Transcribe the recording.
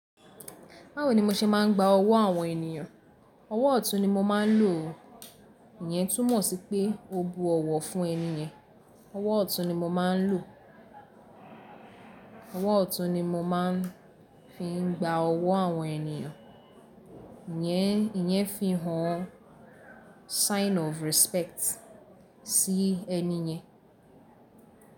Báwo ni mo ṣe máa ń gba ọwọ́ àwọn ènìyàn? Ọwọ́ ọ̀tún ni mo máa ń lò o. Ìyẹn túmọ̀ sí pé o bu ọ̀wọ̀ fún ẹni yẹn. Ọwọ́ ọ̀tún ni mo máa ń lò. Ọwọ́ ọ̀tún ni mo máa ń fi ń gba ọwọ́ àwọn ènìyàn. Ìyẹn, ìyẹn fi hàn sign of respect sí ẹni yẹn.